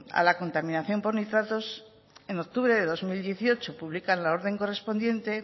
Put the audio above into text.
a la contaminación por nitratos en octubre de dos mil dieciocho publican la orden correspondiente